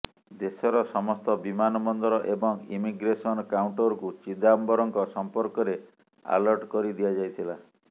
ଦେଶର ସମସ୍ତ ବିମାନ ବନ୍ଦର ଏବଂ ଇମିଗ୍ରେସନ କାଉଣ୍ଟରକୁ ଚିଦମ୍ବରମଙ୍କ ସଂପର୍କରେ ଆଲର୍ଟ କରିଦିଆଯାଇଥିଲା